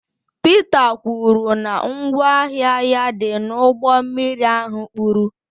Pita kwuru na ngwa ahịa ya dị n'ụgbọ mmiri ahụ kpuru